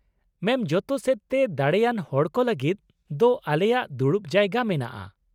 ᱢᱮᱢ, ᱡᱚᱛᱚ ᱥᱮᱫᱛᱮ ᱫᱟᱲᱮᱭᱟᱱ ᱦᱚᱲᱠᱚ ᱞᱟᱹᱜᱤᱫ ᱫᱚ ᱟᱞᱮᱭᱟᱜ ᱫᱩᱲᱩᱵ ᱡᱟᱭᱜᱟ ᱢᱮᱱᱟᱜᱼᱟ ᱾